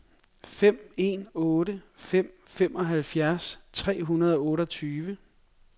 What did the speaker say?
fem en otte fem femoghalvfjerds tre hundrede og otteogtyve